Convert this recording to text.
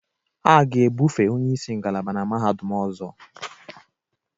A ga-ebufe onye isi ngalaba na mahadum ọzọ